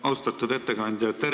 Austatud ettekandja!